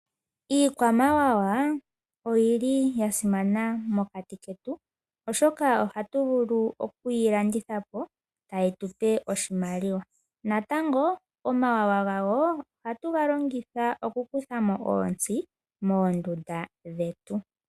Iikwamawawa oyili ya simana mokati ketu oshoka ohatu vulu okuyi landitha po tayi tupe oshimaliwa natango omawawa gayo ohatu ga longitha oku kuthamo oontsi moondunda dhetu.